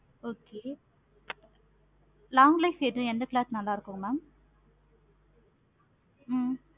okay long life எந்த cloth நல்லாருக்கு mam ஹம்